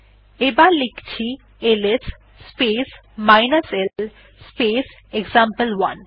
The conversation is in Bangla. এবার লেখছি LS space l space example one